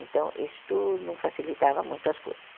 Então, isto não facilitava muito as coisas.